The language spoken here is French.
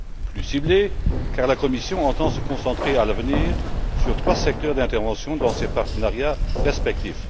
Plus ciblé, car la commission entend se concentrer, à l'avenir, sur trois secteurs d'intervention dans ses partenariats respectifs.